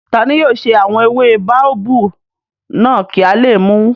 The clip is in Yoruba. Tani yóò ṣe àwọn ewé báóbábù náà kí a lè mùú?